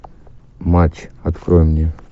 матч открой мне